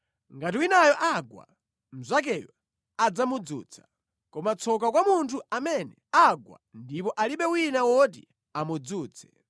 Ngati winayo agwa, mnzakeyo adzamudzutsa. Koma tsoka kwa munthu amene agwa ndipo alibe wina woti amudzutse!